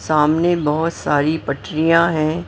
सामने बहुत सारी पटरियां हैं।